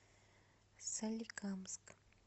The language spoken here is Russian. соликамск